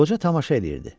Qoca tamaşa eləyirdi.